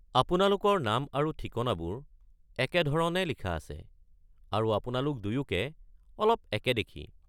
আপোনালোকৰ নাম আৰু ঠিকনাবোৰ একেধৰণে লিখা আছে, আৰু আপোনালোক দুয়োকে অলপ একে দেখি।